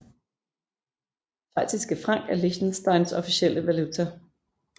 Schweiziske Frank er Liechtensteins officielle valuta